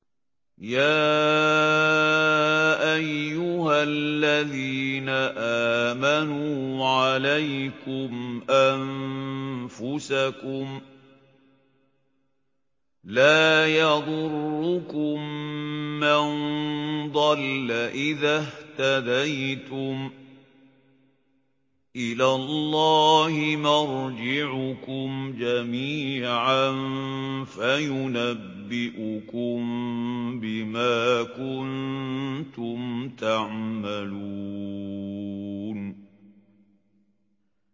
يَا أَيُّهَا الَّذِينَ آمَنُوا عَلَيْكُمْ أَنفُسَكُمْ ۖ لَا يَضُرُّكُم مَّن ضَلَّ إِذَا اهْتَدَيْتُمْ ۚ إِلَى اللَّهِ مَرْجِعُكُمْ جَمِيعًا فَيُنَبِّئُكُم بِمَا كُنتُمْ تَعْمَلُونَ